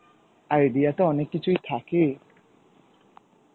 idea তো অনেক কিছুই থাকে.